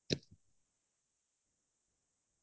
তাৰ পিছত খাই ভাল পাওঁ